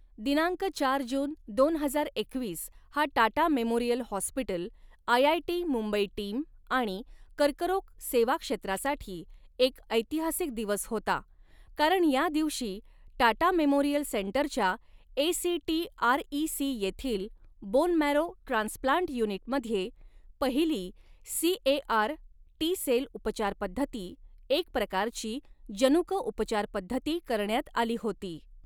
दिनांक चार जून, दोन हजार एकवीस हा Tata memorial hospital, IIT Mumbai team आणि कर्करोग सेवा क्षेत्रासाठी एक ऐतिहासिक दिवस होता, कारण या दिवशी टाटा मेमोरियल सेंटरच्या एसीटीआरईसी येथील बोन मॅरो ट्रान्सप्लांट युनिटमध्ये पहिली सीएआर टी सेल उपचारपध्दती एक प्रकारची जनुक उपचारपध्दती करण्यात आली होती.